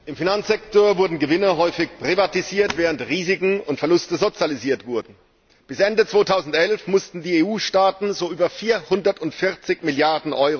Im Finanzsektor wurden Gewinne häufig privatisiert, während Risiken und Verluste sozialisiert wurden. Bis Ende 2011 mussten die EU Staaten so über 440 Mrd.